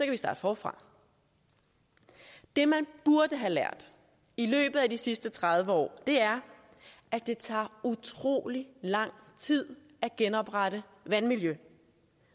vi starte forfra det man burde have lært i løbet af de sidste tredive år er at det tager utrolig lang tid at genoprette vandmiljøet